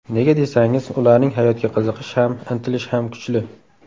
Nega desangiz, ularning hayotga qiziqishi ham, intilishi ham kuchli.